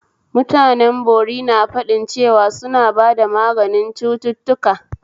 Mutanen bori na faɗin cewa suna ba da maganin cututtuka